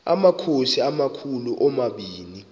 amakhosi amakhulu omabini